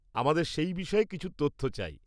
আমাদের সেই বিষয়ে কিছু তথ্য চাই।